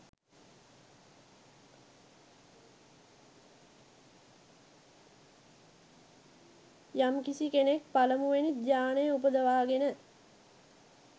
යම්කිසි කෙනෙක් පළමුවෙනි ධ්‍යානය උපදවාගෙන